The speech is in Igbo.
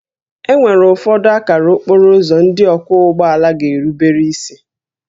E nwere ụfọdụ akara okporo ụzọ ndị ọkwọ ụgbọ ala ga-erubere isi